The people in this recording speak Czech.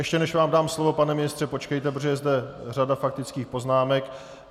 Ještě než vám dám slovo, pane ministře, počkejte, protože je zde řada faktických poznámek.